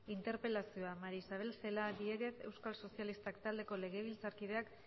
interpelazioa maría isabel celaá diéguez euskal sozialistak taldeko legebiltzarkideak